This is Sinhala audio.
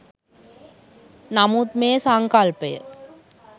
නමුත් මේ සංකල්පය